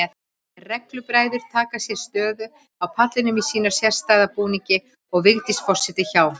Reglubræður taka sér stöðu á pallinum í sínum sérstæða búningi og Vigdís forseti hjá.